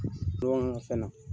Dɔɔni n ka fɛn na.